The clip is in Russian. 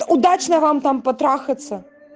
удачно вам там потрахаться